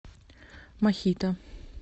мохито